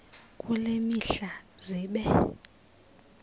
kule mihla zibe